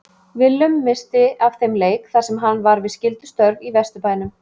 Willum missti af þeim leik þar sem hann var við skyldustörf í Vesturbænum.